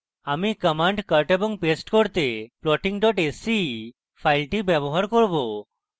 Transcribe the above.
আমি commands cut এবং paste করতে plotting sce file ব্যবহার করব